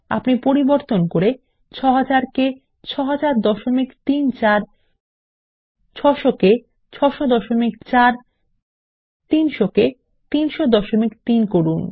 আপনি পরিবর্তন করে ৬০০০ কে ৬০০০৩৪ ৬০০ কে ৬০০৪ 300 কে ৩০০৩ করুন